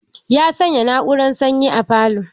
Ya sanya na'urar sanyi a falo.